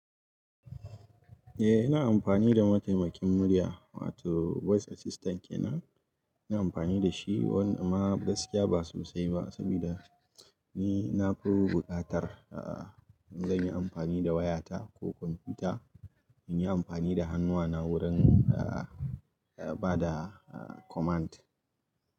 Eh, ina amfani da mataimakin murya wato voice assistant kenan. Ina amfani da shi, wanda amma gaskiya ba sosai ba, saboda ni na fi buƙatar a'a, in zan yi amfani da wayata ko kwamfuta, in yi amfani da hannuna wurin a'a, bada a'a command.